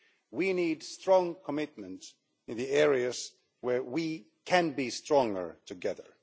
We need strong commitment in the areas where we can be stronger together.